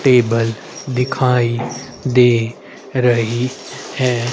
Table दिखाई दे रही है।